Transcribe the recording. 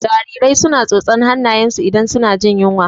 Jarirai su na tsotsan hannayen su idan su na jin yunwa